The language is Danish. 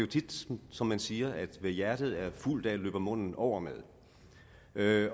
tit som man siger at hvad hjertet er fuldt af løber munden over med med